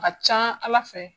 Ka ca ala fɛ;